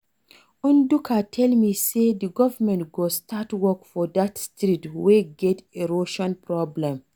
Ndụka tell me say the government go start work for dat street wey get erosion problem